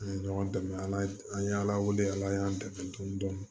An ye ɲɔgɔn dɛmɛ ala an ye ala wele ala y'an dɛmɛ dɔɔnin